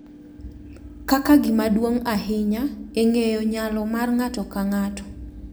Kaka gima duong’ ahinya e ng’eyo nyalo mar ng’ato ka ng’ato